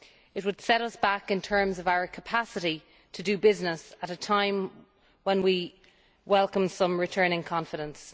It would set us back in terms of our capacity to do business at a time when we welcome some return in confidence.